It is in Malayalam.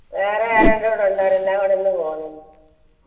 വേറെ ആരല്ലോ ഇന്ന് പോണ്